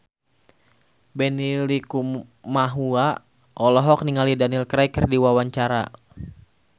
Benny Likumahua olohok ningali Daniel Craig keur diwawancara